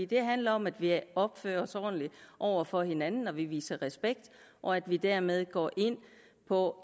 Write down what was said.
det handler om at vi opfører os ordentligt over for hinanden at vi viser respekt og at vi dermed går ind på